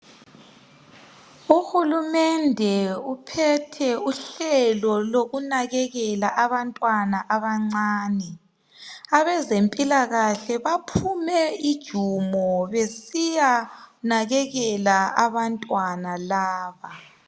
Uhulumende uphethe uhlelo lokunakekela abantwana abancane abezempilakahle baphume ijumo besiyanakekela abantwana laba.